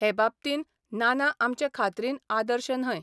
हे बाबतींन नाना आमचे खात्रीन आदर्श न्हय.